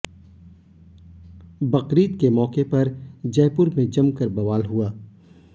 बकरीद के मौके पर जयपुर में जमकर बवाल हुआ